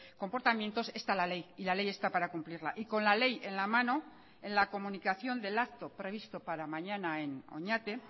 comportamientos está la ley y la ley está para cumplirla y con la ley en la mano en la comunicación del acto previsto para mañana en oñati